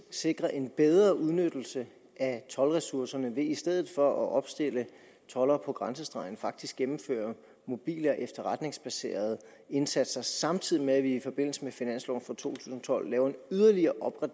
sikrer en bedre udnyttelse af toldressourcerne ved i stedet for at opstille toldere på grænsestregen faktisk at gennemføre mobile og efterretningsbaserede indsatser samtidig med at vi i forbindelse med finansloven for to tusind og tolv laver en yderligere